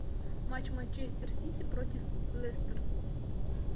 матч манчестер сити против лестер